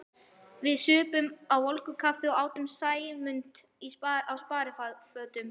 Við supum á volgu kaffinu og átum Sæmund á sparifötunum.